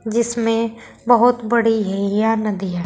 जिसमें बहुत बड़ी यह नदी है।